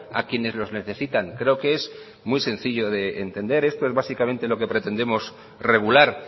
a quienes los necesitan creo que es muy sencillo de entender esto es básicamente lo que pretendemos regular